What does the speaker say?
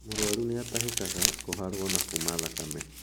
Mũrwaru nĩatahĩkaga, kũharwo na kuma thakame.